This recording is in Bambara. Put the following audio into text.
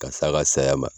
Ka s'a ka saya ma